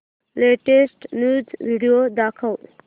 latest news video दाखव